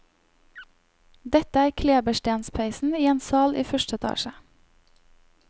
Dette er kleberstenspeisen i en sal i første etasje.